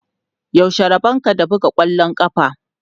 Yaushe rabonka da buga ƙwallon ƙafa?